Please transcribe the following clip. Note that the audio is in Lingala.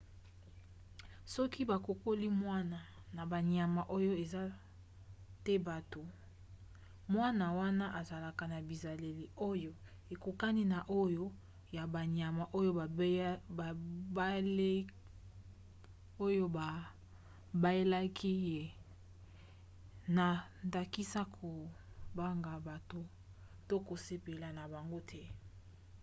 soki bakokoli mwana na banyama oyo eza te bato mwana wana azalaka na bizaleli na makambo ya nzoto oyo ekokani na oyo ya banyama oyo babaelaki ye na ndakisa kobanga bato to kosepela na bango te